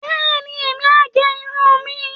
Bẹ́ẹ̀ni, èmi á gẹ irun mi